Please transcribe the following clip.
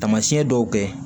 Taamasiyɛn dɔw kɛ